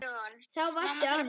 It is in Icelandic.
Þá varstu ánægð.